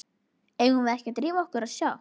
Eigum við ekki að drífa okkur og sjá.